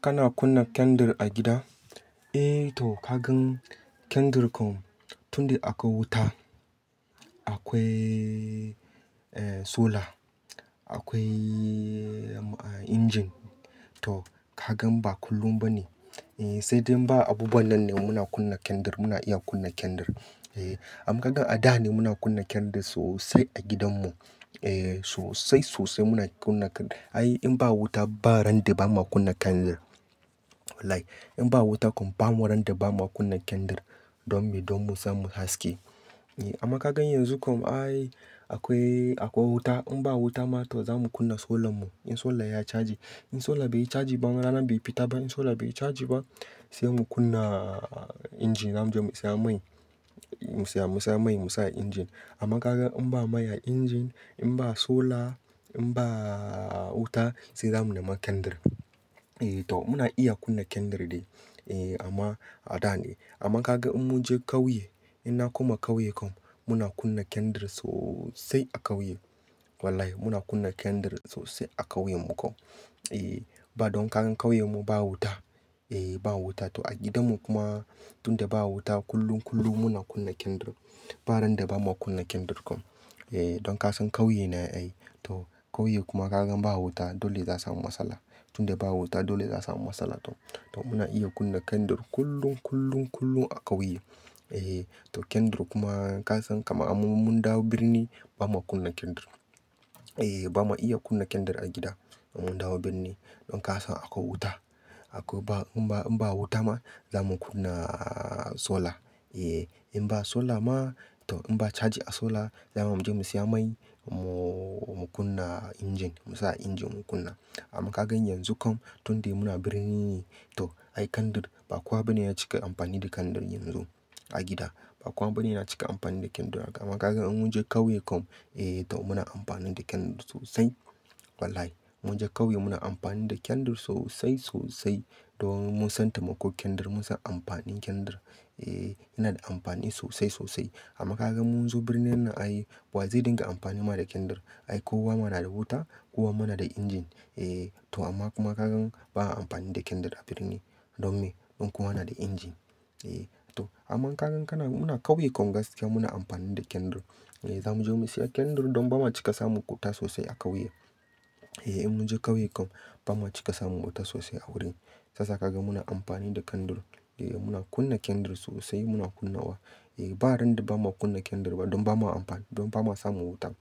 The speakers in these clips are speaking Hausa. Kana kunna kendr a gida? Eh to kagan kendir kom tunda akwai wuta, akwai eh solar, akwai engine to kagan ba kullum ba ne. Eh sai dai ba abu banan ne muna kunna kendr muna iya kunna kendr. Eh amma kaga a da ne muna kunna kendr sosai a gidan mu. Eh sosai sosai muna kunna ai in ba wuta ba ran da bamu kunna kendr. Wallahi in ba wuta kom ba mu ran da bamu kunna kendr don me don mu samu haske. Eh amma kaga yanzu kom ai akwai, akwai wuta in ba wuta ma to zamu kunna solar mu in solar ya charge. In solar bai charge ba ranan bai fita ba in solar bai charge ba sai mu kunna engine zamu je mu siya mai, mu siya mu siya mai mu sa a engine. Amma kaga in ba mai a engine in ba solar in ba wuta sai zamu nema kendr. Eh to muna iya kunna kendr dai. Eh amma a da ne. Amma kaga in munje kauye, in na koma kauye kom muna kunna kendr sosai a kauye. Wallahi muna kunna kendr sosai a kauyen mu kom. Eh ba don kagan kauye mu ba wuta. Eh ba wuta to a gidan mu kuma tunda ba wuta kullum kullum muna kunna kendr. Ba ran da bamu kunna kendr kom. Eh don kasan kauye ne ai to kauye kuma kaga ba wuta dole zaa samu matsala. Tunda ba wuta dole za asamu matsala to to muna iya kunna kendr kullum kullum kullum a kauye. Eh to kendr kuma kasan kama an mun, mun dawo birni bamu kunna kendr. Eh ba mu iya kunna kendr a gida in mun dawo birni. Don kasan akwai wuta akwai ba in ba, in ba wuta ma zamu kunna solar. Eh in ba solar ma to in ba charge a solar zamu je mu siya mai mu, mu kunna engine. Mu sa a engine mu kunna. Amma kaga yanzu kom tunde muna birni ne to ai kendr ba kowa bane ya cika amfani da kendr yanzu a gida. Ba kowa bane yana cika amfani da kendr amma kaga in munje kauye kom eh to muna amfani da kendr sosai. Wallahi munje kauye muna amfani da kendr sosai sosai. Don mun san taimakon kendr mun san amfanin kendr. Eh yana da amfani sosai sosai. Amma kaga munzo birni nan ai wa zai dinga amfani ma da kendr? Ai ko wa mana da wuta ko wa mana da engine. Eh to amma kuma kaga ba a amfani da kendr a birni don me? Don kowa na da engine. Eh to amma kaga kana muna kauye kom gaskiya muna amfani da kendr. Eh zamu je mu siya kendr don ba ma cika samu wuta sosai a kauye. Eh in munje kauye kom ba ma cika samu wuta sosai a wurin. Sasa kaga muna amfani da kendr. Eh muna kunna kendr sosai muna kunna wa. Eh ba ran da bamu kunna kendr ba don ba ma amfani don ba ma samu wuta.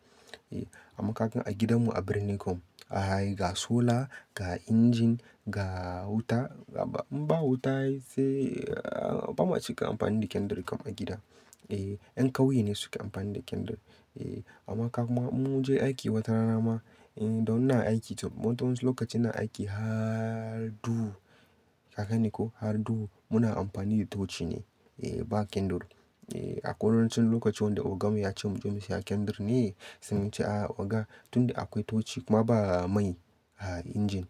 Eh amma kaga a gidan mu a birni kom, ai ga solar, ga engine, ga wuta. Ba in ba wuta ai sai ba ma cika amfani da kendr kom a gida. Eh yan kauye ne suke amfani da kendr. Eh amma ka kuma munje aiki wata rana ma, eh don ina aiki to watansu lokacin na aiki harduhu. Haka ne ko? Harduhu muna amfani da touchi ne. Eh ba kendr. Eh a kawancin lokaci wanda oga mu ya ce mu je mu siya kendr ne saimun ce "A oga tunda akwai touchi kuma ba mai a engine."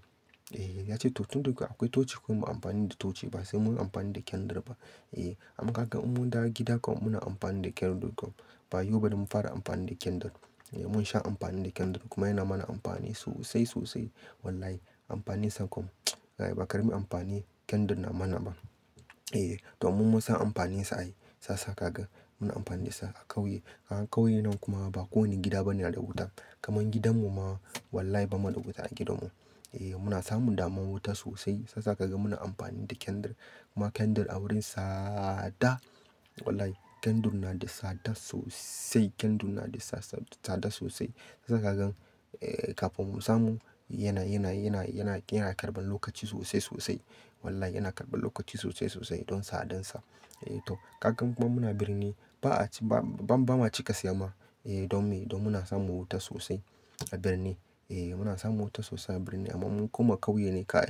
Eh ya ce to tunda akwai touchi kom mu amfani da touchi ba sai mu amfani da kendr ba. Eh amma kaga mun dawo gida kom muna amfani da kendr kom. Ba yau ba don mun fara amfani da kendr. Eh mun sha amfani da kendr kuma yana mana amfani sosai sosai. Wallahi amfanin sa kom ba ka karami amfani kendr na mana ba. Eh to mun, mun san amfanin sa ai sasa kaga muna amfani da sa a kauye. A kauye nan kuma ba kowanne gida bane da wuta. Kaman gidan mu ma wallahi ba mu da wuta a gidan mu. Eh muna samun damuwan wuta sosai saisa kaga muna amfani da kendr. Kuma kendr a wurin sada. Wallahi kendr na da sada sosai. Kendr na da sa, sa, sada sosai. Za kagan eh kafin mun samu yana, yana, yana, yana, yana karban lokaci sosai sosai. Wallahi yana karban lokaci sosai sosai don sadin sa. Eh to kaga kuma muna birni ba a ci ba, ba ma cika siya ma. Eh don me? Don muna samun wuta sosai a birni. Eh muna samun wuta sosai a birni amma mun kuma kauye ne ka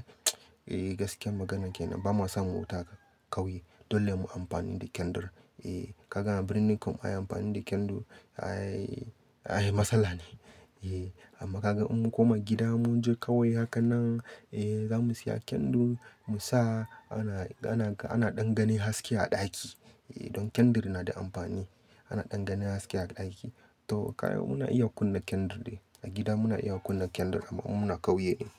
eh gaskiyar magana ke nan ba ma samun wuta kauye. Dole mu amfani da kendr. Eh kaga a birni kom ai amfani da kendr ai, ai matsala ne. Eh amma kaga inmun koma gida munje kauye hakan nan eh zamu siya kendr mu sa ana, ana ka, ana ɗan gani haske a ɗaki. Eh don kendr na da amfani. Ana ɗan gane haske a ɗaki. To ka muna iya kunna kendr dai. A gida muna iya kunna kendr amma in muna kauye din.